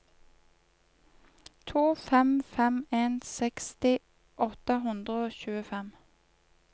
to fem fem en seksti åtte hundre og tjuefem